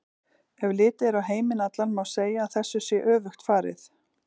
Ef litið er á heiminn allan má segja að þessu sé öfugt farið.